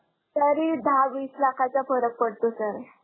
तरी दहा वीस लाखाच्या फरक पडतो sir.